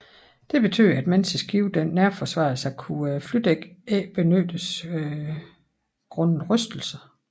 Det betød at mens skibet nærforsvarede sig kunne flydækket ikke benyttes grundet rystelser